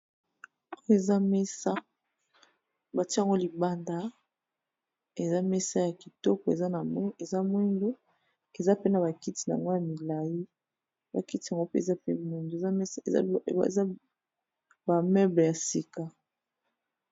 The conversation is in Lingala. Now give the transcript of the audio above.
Oyo eza mesa ba tié yango libanda, eza mesa ya kitoko, eza pe na ba kiti n'ango ya milayi, ba kiti yango pe eza mpe moyindo eza ba meuble ya sika .